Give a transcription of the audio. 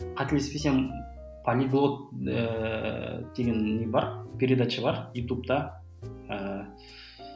қателеспесем полиглот ыыы деген не бар передача бар ютубта ыыы